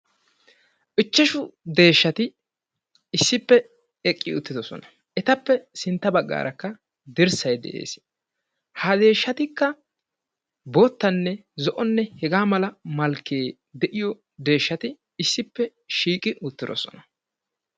Ichchashu deeshshati issippe eqqi uttidodosona. Eta sintta baggaarakka dirssay de'ees. Ha deeshshatikka boottanne zo'onne hegaa mala malkkee de'iyo deeshshati issippe shiiqi uttirosona.